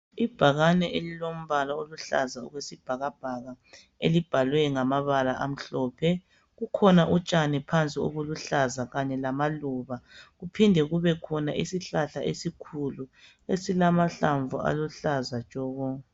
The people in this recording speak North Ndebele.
Ibhakane elilombala oluhlaza okwesibhakabhaka elibhalwe ngamabala amhlophe, kukhona utshani phansi obukuhlaza Kanye lamaluba ,kuphinde kubakhona isihlahla esikhulu esilamahlamvu aluhlaza tshoko